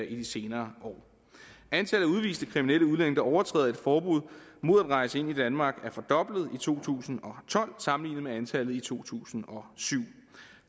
i de senere år antallet af udviste kriminelle udlændinge der overtræder et forbud mod at rejse ind i danmark er fordoblet i to tusind og tolv sammenlignet med antallet i to tusind og syv